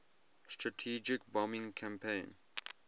strategic bombing campaign